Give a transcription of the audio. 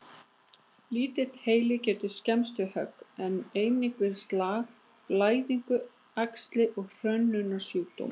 Litli heili getur skemmst við högg, en einnig við slag, blæðingu, æxli og hrörnunarsjúkdóma.